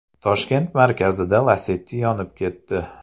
Toshkent markazida Lacetti yonib ketdi.